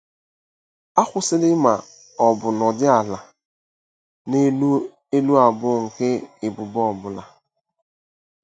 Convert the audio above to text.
◇ Akwụsịla ma ọ bụ nọdụ ala n'elu elu abụọ nke ubube ọ bụla.